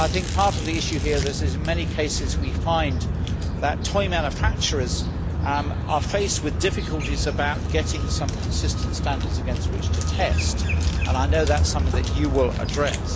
Part of the issue here is that, in many cases, we find that toy manufacturers are faced with difficulties about getting some consistent standards against which to test, and I know that is something that you will address.